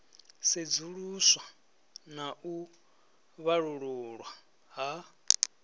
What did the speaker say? sedzuluswa na u vhalululwa ha